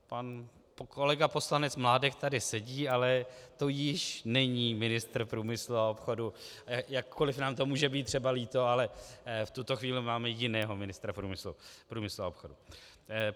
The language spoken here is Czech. Pan kolega poslanec Mládek tady sedí, ale to již není ministr průmyslu a obchodu, jakkoli nám to může být třeba líto, ale v tuto chvíli máme jiného ministra průmyslu a obchodu.